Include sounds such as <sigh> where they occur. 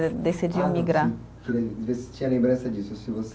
<unintelligible> Decidiu imigrar. <unintelligible> Ver se tinha lembrança disso, se você